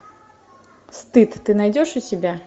стыд ты найдешь у себя